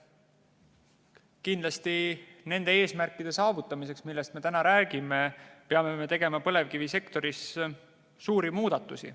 Kindlasti nende eesmärkide saavutamiseks, millest me täna räägime, peame me tegema põlevkivisektoris suuri muudatusi.